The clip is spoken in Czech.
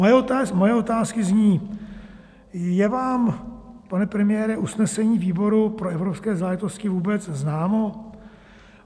Moje otázky zní: Je vám, pane premiére, usnesení výboru pro evropské záležitosti vůbec známo?